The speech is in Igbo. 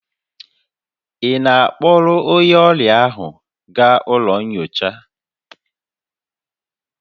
Ị na-akpọrọ onye ọrịa ahụ gaa ụlọ nyocha?